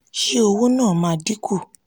ṣé owó náà máa dín kù?